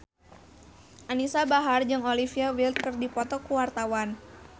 Anisa Bahar jeung Olivia Wilde keur dipoto ku wartawan